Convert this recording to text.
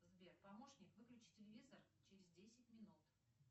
сбер помощник выключи телевизор через десять минут